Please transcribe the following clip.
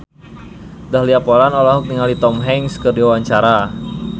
Dahlia Poland olohok ningali Tom Hanks keur diwawancara